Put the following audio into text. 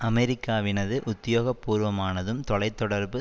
அமெரிக்காவினது உத்தியோகபூர்வமானதும் தொலை தொடர்பு